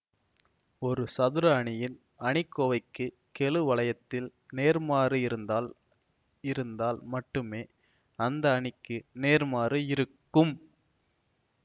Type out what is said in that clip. ஒரு சதுர அணியின் அணிக்கோவைக்கு கெழு வளையத்தில் நேர்மாறு இருந்தால் இருந்தால் மட்டுமே அந்த அணிக்கு நேர்மாறு இருக்கும்